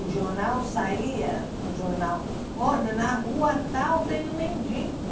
O jornal saía, no jornal, olha, na rua tal tem um mendigo.